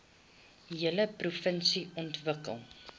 hele provinsie ontwikkel